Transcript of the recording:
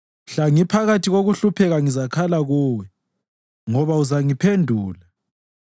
Mhla ngiphakathi kokuhlupheka ngizakhala kuwe, ngoba uzangiphendula.